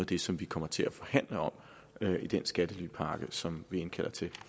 det som vi kommer til at forhandle om i den skattelypakke som vi indkalder til